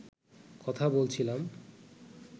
কথা বলছিলাম